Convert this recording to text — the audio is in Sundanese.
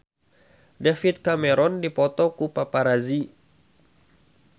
David Cameron dipoto ku paparazi